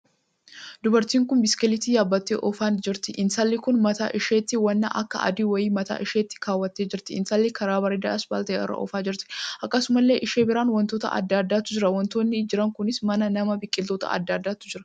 Dubartiin kun biskileeta yaabbattee oofan jirti. intalli kun mataa isheetti waan akka adii wayii mataa isheetti kaawwatee jirti. intalli karaa bareedaa ispaltii irraa oofaa jirti. akkasumallee ishee biraan wantoota addaa addaatu jira. wantoonni jira kunis; mana, nama, biqiloota addaa addaatu jira.